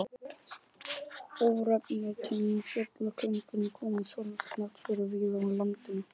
Örnefni tengd fjallkóngum koma sjálfsagt fyrir víða á landinu.